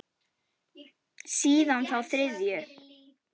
Síðan þá þriðju.